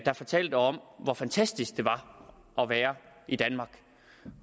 han fortalte om hvor fantastisk det var at være i danmark